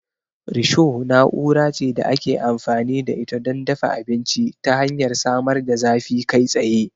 Risho na'ura ce da ake amfani da ita don dafa abinci ta hanyar samar da zafi kai tsaye.